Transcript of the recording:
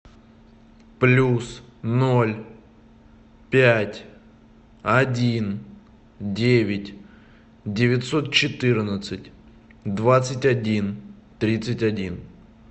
плюс ноль пять один девять девятьсот четырнадцать двадцать один тридцать один